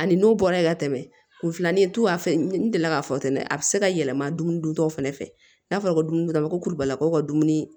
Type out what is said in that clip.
Ani n'o bɔra ye ka tɛmɛ kun filanan in tun b'a fɛ n delila k'a fɔ ten dɛ a bɛ se ka yɛlɛma dumuni duntaw fana fɛ n'a fɔra ko dumuni kɛla ko kurubagaw ka dumuni